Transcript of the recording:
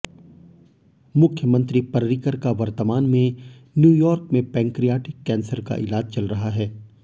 मुख्यमंत्री पर्रिकर का वर्तमान में न्यूयॉर्क में पैंक्रियाटिक कैंसर का इलाज चल रहा है